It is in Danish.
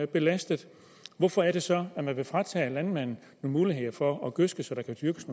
belastet hvorfor er det så at man vil fratage landmanden muligheder for at gødske så der kan dyrkes